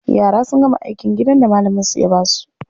Yara sun gama aikin gidan da malaminsu ya ba su.